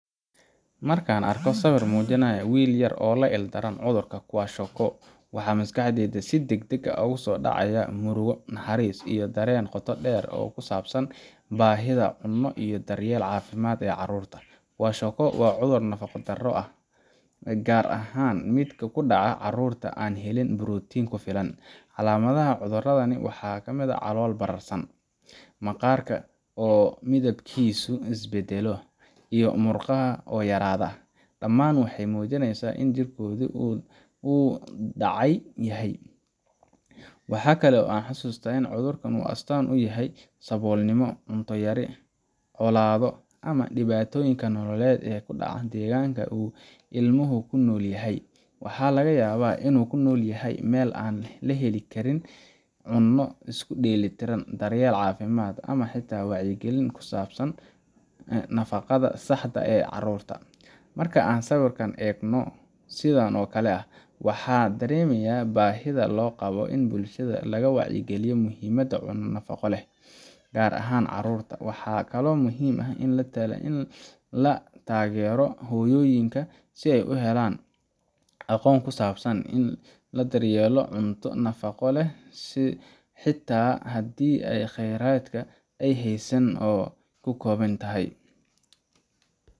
Marka arkoh sawir mujinayo will yaar, oo la ildaran cudurka kwiskwako waxa masqaxdeeyda si dag deg ugu sidacaya muruga naxaris iyo Daren doqo dheer kusabsan bahitha iyo daryeel cafimd carurta, wacudur nafaqa Dara ah kaar ahaan midka carurta aa helin protein kufilan clamada cudurkana waxakamit aah calolo bararsan maqarka oo mithibkisa isbadaloh oo murqaha oo yaradoh ,dhaman waxamujineysahbin jerkotha waxkali o xasuth ini cudarkni oo walasabul yahaya yribcolado amah dhab dibatoyinga nololet oo dacah deganka ioho kunolyahay walagayabah ilmaho inu kunolyahay meel cunta yari kajtoh iskudeltiran darye cafimd, amah xatavwacyi kalin kusabsan nafaqa darada xaga carurta, markan egnoh sethan oo Kali daremayaha bahitha aa Qabo bulshada wacyi kaliyoh muhimda nafaqaleh kaar ahaan carurta waxakali oo muhim aah ini latageeroh hoyoyinga aqoon kusabsan ini ladar yeloh cunta nafaqa leeh xata handi kheyrata ay haysanin kukobin.